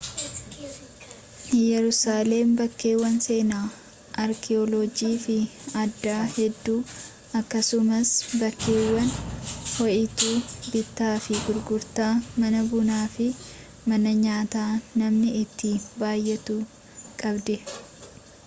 yerusaaleem bakkeewwan seenaa arki’oolojii fi adaa hedduu akkasumas bakkeewwan ho’ituu bittaa fi gurgurtaa mana bunaa fi mana nyaataa namni itti baay’atu qabdi